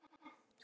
Það er gott